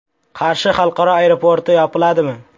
Qarshi xalqaro aeroporti yopiladimi?.